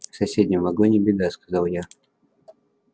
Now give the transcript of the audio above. в соседнем вагоне беда сказал я